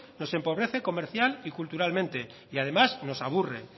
nos empobrece comercial y culturalmente y además nos aburre